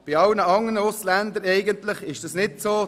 Bei allen andern Ausländern ist es anders.